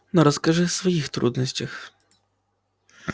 но расскажи своих трудностях